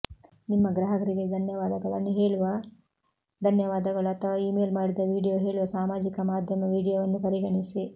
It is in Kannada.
ನಿಮ್ಮ ಗ್ರಾಹಕರಿಗೆ ಧನ್ಯವಾದಗಳನ್ನು ಹೇಳುವ ಧನ್ಯವಾದಗಳು ಅಥವಾ ಇಮೇಲ್ ಮಾಡಿದ ವೀಡಿಯೊ ಹೇಳುವ ಸಾಮಾಜಿಕ ಮಾಧ್ಯಮ ವೀಡಿಯೊವನ್ನು ಪರಿಗಣಿಸಿ